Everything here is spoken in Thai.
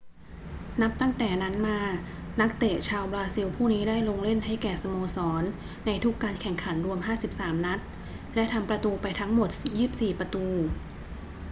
นับตั้งแต่นั้นมา นักเตะชาวบราซิลผู้นี้ได้ลงเล่นให้แก่สโมสรในทุกการแข่งขันรวม 53 นัด และทำประตูไปทั้งหมด 24 ประตู